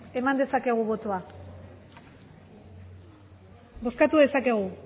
eman dezakegu botoa bozkatu dezakegu